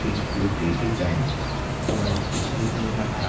खिड़कियों के design white दिखाई दे रहे हैं।